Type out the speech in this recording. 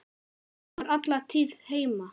Hún var alla tíð heima.